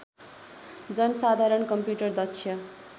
जनसाधारण computer दक्ष